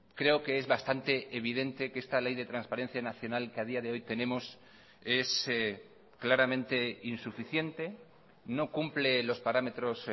creo que es bastante evidente que esta ley de transparencia nacional que ha día de hoy tenemos es claramente insuficiente no cumple los parámetros